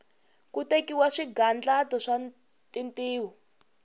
ku tekiwa swigandlato swa tintiho